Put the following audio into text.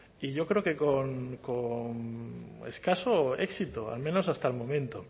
y yo creo que con escaso éxito al menos hasta el momento